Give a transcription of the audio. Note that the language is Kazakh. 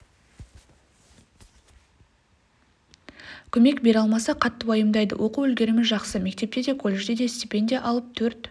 көмек бере алмаса қатты уайымдайды оқу үлгерімі жақсы мектепте де колледжде де стипендия алып төрт